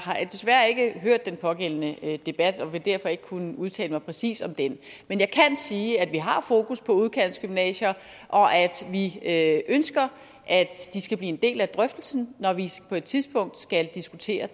har desværre ikke hørt den pågældende debat og vil derfor ikke kunne udtale mig præcis om den men jeg kan sige at vi har fokus på udkantsgymnasier og at ønsker at de skal blive en del af drøftelsen når vi på et tidspunkt skal diskutere